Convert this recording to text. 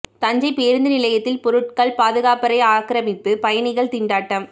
தஞ்சை புதிய பேருந்து நிலையத்தில் பொருட்கள் பாதுகாப்பறை ஆக்கிரமிப்பு பயணிகள் திண்டாட்டம்